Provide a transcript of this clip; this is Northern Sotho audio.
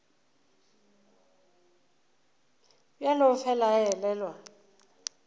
bjalo o fela a elelwa